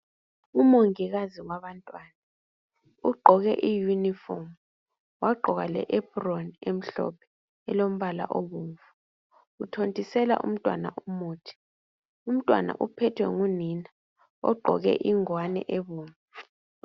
Umongikazi wabantwana ugqoke i yunifomu wagqoka le ephuroni emhlophe elombala obomvu uthontisela umntwana umuthi. Umntwana ,uphethwe ngunina ogqoke ingowane ebomvu.